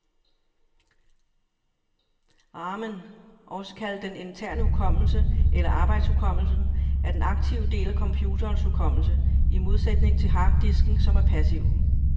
Ramen, også kaldet den interne hukommelse eller arbejdshukommelsen, er den aktive del af computerens hukommelse, i modsætning til harddisken, som er passiv.